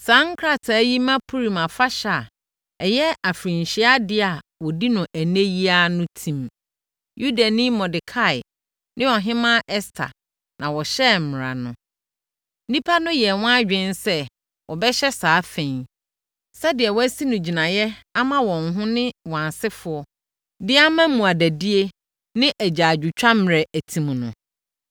Saa nkrataa yi ma Purim Afahyɛ a ɛyɛ afirinhyiadeɛ a wɔdi no ɛnnɛ yi ara no tim. Yudani Mordekai ne Ɔhemmaa Ɛster na wɔhyɛɛ mmara no. (Nnipa no yɛɛ wɔn adwene sɛ wɔbɛhyɛ saa fa yi, sɛdeɛ wɔasi no gyinaeɛ ama wɔn ho ne wɔn asefoɔ de ama mmuadadie ne agyaadwotwa mmerɛ atim no.)